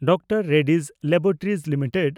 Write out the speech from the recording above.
Dr Reddy's laboratories limited